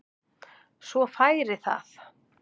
Svo færi það.